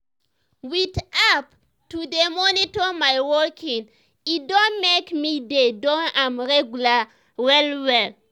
with app to dey monitor my walking e don make me dey do am regular well well.